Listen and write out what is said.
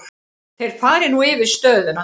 Þeir fari nú yfir stöðuna.